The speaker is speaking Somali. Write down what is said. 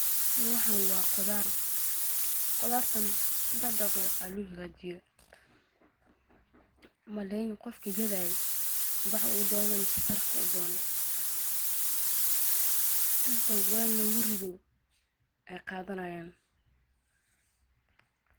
Waxaan waa qudaar, sedex nooc ayaa loo hagaajiye, qofka gadaaye weel ama sarif ayuu sooner, inti weel lagu rido ayeey wadanayaan.